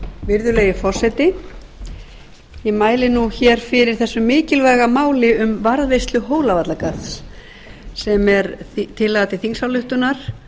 virðulegi forseti ég mæli nú hér fyrir þessu mikilvæga máli um varðveislu hólavallagarðs sem er tillaga til þingsályktunar